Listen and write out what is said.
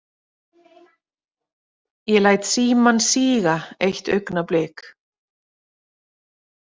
Ég læt símann síga eitt augnablik.